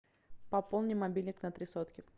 пополни мобильник на три сотки